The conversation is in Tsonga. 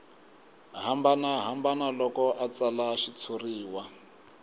hambanahambana loko a tsala xitshuriwa